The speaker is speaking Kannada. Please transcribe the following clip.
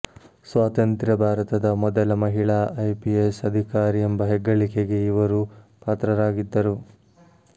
ಸ್ವಾತಂತ್ರ ಭಾರತದ ಮೊದಲ ಮಹಿಳಾ ಐಪಿಎಸ್ ಅಧಿಕಾರಿ ಎಂಬ ಹೆಗ್ಗಳಿಕೆಗೆ ಇವರು ಪಾತ್ರರಾಗಿದ್ದರು